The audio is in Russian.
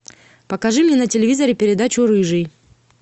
покажи мне на телевизоре передачу рыжий